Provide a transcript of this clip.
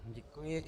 Děkuji.